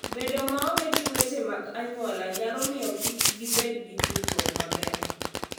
Bedo maonge gi weche mag anyuola nyalo miyo kik gibed gi tudruok maber.